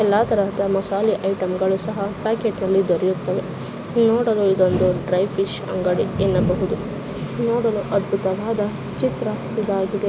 ಎಲ್ಲಾ ತರಹದ ಮಸಾಲೆ ಐಟಂ ಗಳು ಸಹ ಪ್ಯಾಕೆಟ್ ನಲ್ಲಿ ದೊರೆಯುತ್ತವೆ ನೋಡಲು ಇದೊಂದು ಡ್ರೈ ಫಿಶ್ ಅಂಗಡಿ ಎನ್ನಬಹುದು ನೋಡಲು ಅದ್ಭುತವಾದ ಚಿತ್ರ ಇದಾಗಿದೆ.